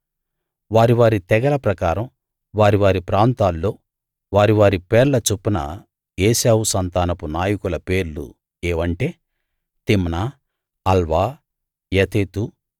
వారివారి తెగల ప్రకారం వారివారి ప్రాంతాల్లో వారివారి పేర్ల చొప్పున ఏశావు సంతానపు నాయకుల పేర్లు ఏవంటే తిమ్నా అల్వా యతేతు